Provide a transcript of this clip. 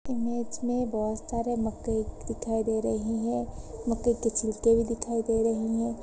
Image में बहुत सारे मक्के दिखाई दे रही हैं मक्के के छिलके भी दिखाई दे रही हैं।